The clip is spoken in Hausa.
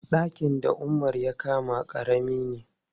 Ɗakin da Umar ya kama ƙarami ne.